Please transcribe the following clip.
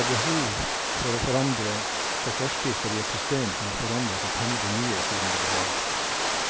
Det er behov for å forandre på forskrifter i et system som har forandret seg temmelig mye siden det ble laget.